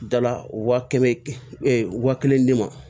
Dala wa kɛmɛ wa kelen di ma